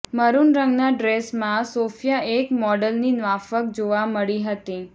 maroon રંગના ડ્રેસમાં Sophia એક મોડલની માફક જોવા મળી હતી